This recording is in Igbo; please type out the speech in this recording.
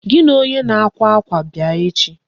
Gị na onye na-akwa akwa bịa echi.